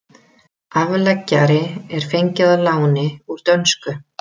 Afleggjari er fengið að láni úr dönsku.